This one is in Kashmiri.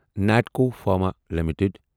Natco pharma limited